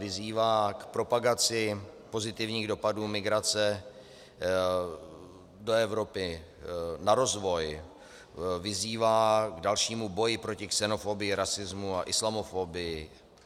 Vyzývá k propagaci pozitivních dopadů migrace do Evropy na rozvoj, vyzývá k dalšímu boji proti xenofobii, rasismu a islamofobii.